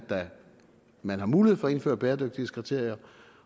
man har mulighed for at indføre bæredygtighedskriterier